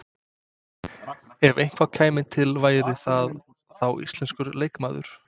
Ef eitthvað kæmi til væri það þá íslenskur leikmaður?